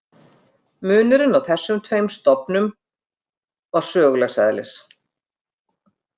Munurinn á þessum tveim stofn- um var sögulegs eðlis.